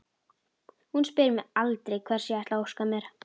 Hún spyr mig aldrei hvers ég ætli að óska mér.